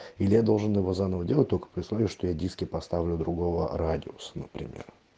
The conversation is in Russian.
или я должен его заново делать только при условии что я диски поставлю другого радиуса например